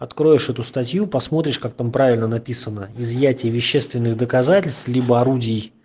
откроешь эту статью посмотришь как там правильно написано изъятие вещественных доказательств либо орудий